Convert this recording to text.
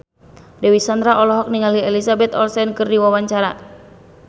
Dewi Sandra olohok ningali Elizabeth Olsen keur diwawancara